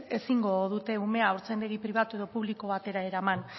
ezingo dute umea haurtzaindegi pribatu edo publiko batera eraman